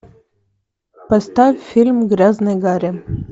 поставь фильм грязный гарри